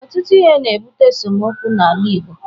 Ọtụtụ ihe na-ebute esemokwu n'ala Igbo.